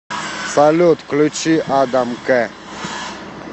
салют включить адам к